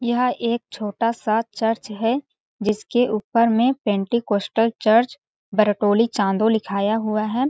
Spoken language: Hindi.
यह एक छोटा-सा चर्च है जिसके ऊपर में Pentecostal church Bartoli Chando लिखाया हुआ है।